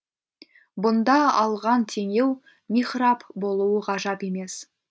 бұнда алған теңеу михраб болуы ғажап емес